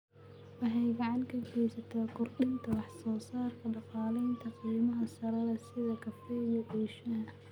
Waxay gacan ka geysataa kordhinta wax soo saarka dalagyada qiimaha sare leh sida kafeega iyo shaaha.